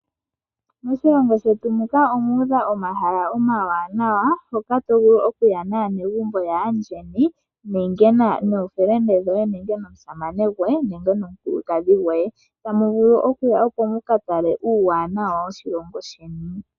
Moshilongo shetu muka omu udha omahala omawanawa, hoka to vulu okuya naanegumbo yoye, nookume koye, nomusamane nenge nomulukadhi gwoye. Tamu vulu okuya opo mu ka tale uuwanawa woshilongo sheni.